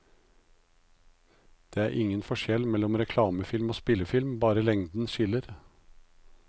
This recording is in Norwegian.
Det er ingen forskjell mellom reklamefilm og spillefilm, bare lengden skiller.